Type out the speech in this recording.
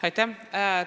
Aitäh!